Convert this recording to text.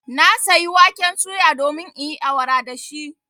Na sayi waken suya domin in yi awara da shi.